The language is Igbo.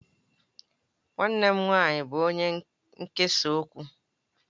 Nwannem nwanyi bu onye nkesa okwu.